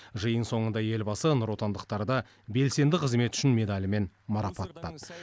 жиын соңында елбасы нұротандықтарды белсенді қызметі үшін медалімен марапаттады